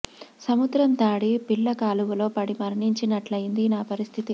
సముద్రం దాటి పిల్ల కాలువలో పడి మరణించి నట్లయింది నా పరిస్థితి